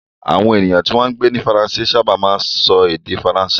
Àwọn ènìyàn tí wọ́n ń gbé ní Faransé sábà máa ń sọ èdè Faransé.